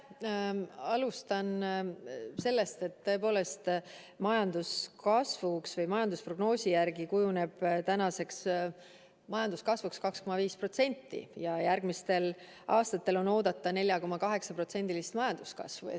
Ma alustan sellest, et tõepoolest majandusprognoosi järgi kujuneb tänavuseks majanduskasvuks 2,5% ja järgmistel aastatel on oodata 4,8%-list majanduskasvu.